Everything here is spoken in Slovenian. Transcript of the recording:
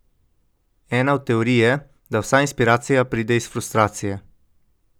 Ena od teorij je, da vsa inspiracija pride iz frustracije.